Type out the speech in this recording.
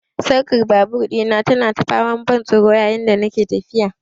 Sarkar babur dina tana ta faman ban tsoro yayin da nake tafiya.